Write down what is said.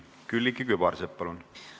Külliki Kübarsepp, palun!